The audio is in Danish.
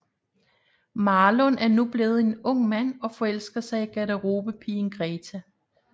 Marlon er nu blevet en ung mand og forelsker sig i garderobepigen Greta